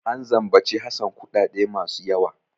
An zambaci Hassan kuɗaɗe masu yawa.